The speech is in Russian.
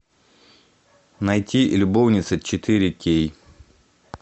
найти любовницы четыре кей